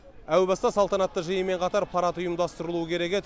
әу баста салтанатты жиынмен қатар парад ұйымдастырылуы керек еді